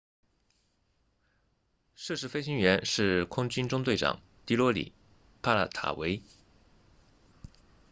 涉事飞行员是空军中队长迪罗里帕塔维 dilokrit pattavee